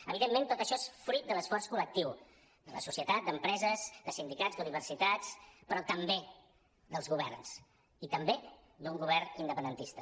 evidentment tot això és fruit de l’esforç col·lectiu de la societat d’empreses de sindicats d’universitats però també dels governs i també d’un govern indepen·dentista